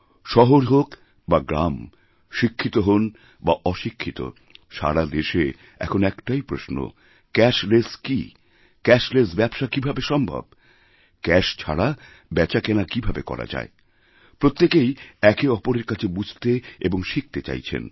শহর হোক বা গ্রাম শিক্ষিত হন বা অশিক্ষিত সারা দেশে এখন একটাইপ্রশ্ন ক্যাশলেস কী ক্যাশলেস ব্যবসা কীভাবে সম্ভব ক্যাশ ছাড়া বেচাকেনাকীভাবে করা যায় প্রত্যেকেই একে অপরের কাছে বুঝতে এবং শিখতে চাইছেন